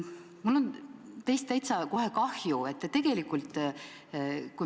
" Mul on teist kohe täitsa kahju.